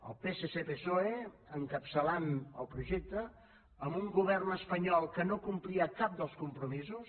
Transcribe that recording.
el psc psoe encapçalant el projecte amb un govern espanyol que no complia cap dels compromisos